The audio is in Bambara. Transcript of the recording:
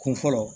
Kun fɔlɔ